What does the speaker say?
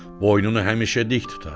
Boynunu həmişə dik tutar.